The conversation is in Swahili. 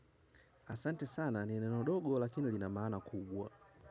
Asante sana ni neno dogo lakini lina maana kubwa.